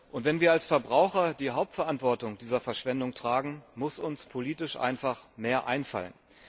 Und wenn wir als Verbraucher die Hauptverantwortung dieser Verschwendung tragen, muss uns politisch einfach mehr einfallen.